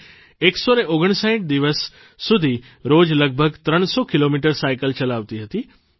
તે 159 દિવસ સુધી રોજ લગભગ 300 કિલોમીટર સાઇકલ ચલાવતી હતી